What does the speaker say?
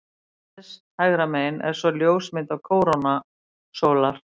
Neðst hægra megin er svo ljósmynd af kórónu sólar.